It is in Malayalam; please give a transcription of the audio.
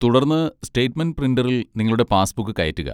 തുടർന്ന് സ്റ്റേറ്റ്മെന്റ് പ്രിന്ററിൽ നിങ്ങളുടെ പാസ്ബുക്ക് കയറ്റുക.